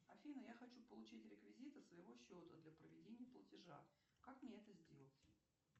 афина я хочу получить реквизиты своего счета для проведения платежа как мне это сделать